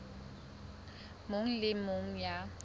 mong le e mong ya